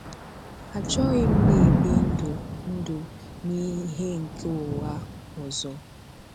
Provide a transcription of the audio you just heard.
Achọghị m na-ebi ndụ̀ ndụ̀ na ìhè nke ụ̀ghà ọzọ.